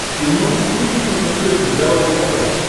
ты можешь включить на смотрешке здоровое тв